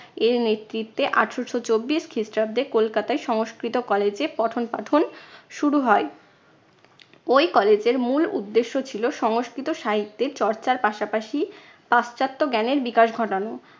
এর নেতৃত্বে আঠারশো চব্বিশ খ্রিস্টাব্দে কলকাতায় সংস্কৃত college এ পঠন পাঠন শুরু হয়। ঐ college এর মূল উদ্দেশ্য ছিল সংস্কৃত সাহিত্যের চর্চার পাশাপাশি পাশ্চাত্য জ্ঞানের বিকাশ ঘটানো।